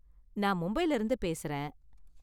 நான் மும்பைல இருந்து பேசுறேன்.